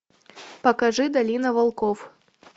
покажи долина волков